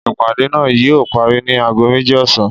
Ìpàdé náà yíò parí ni ago méjì ọ̀sán